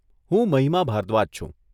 હું મહિમા ભારદ્વાજ છું.